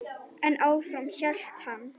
En áfram hélt hann.